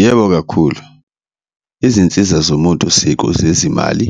Yebo, kakhulu izinsiza zomuntu siko zezimali